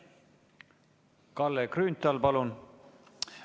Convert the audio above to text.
Kalle Grünthal, palun!